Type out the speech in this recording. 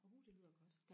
oh det lyder godt